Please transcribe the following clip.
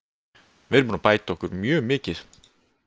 Við erum búnir að bæta okkur mjög mikið.